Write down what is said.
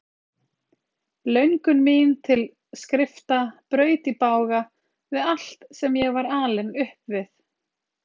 Löngun mín til skrifta braut í bága við allt sem ég var alinn upp við.